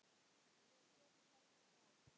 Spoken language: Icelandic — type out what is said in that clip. Svo féll Helgi frá.